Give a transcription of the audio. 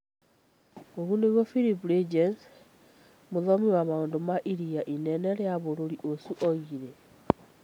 Ũguo nĩguo Filip Reytjens, mũthomi wa maundu ma ĩrĩa inene rĩa bũrũri ucio oigire